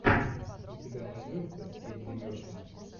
у тебя найдется эдди мерфи